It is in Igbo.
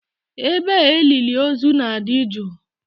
Ebe a elili ozu na-adị jụụ.